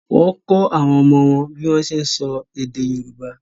Wọ́n kọ́ àwọn ọmọ wọn bí wọ́n ń ṣe ń sọ èdè Yorùbá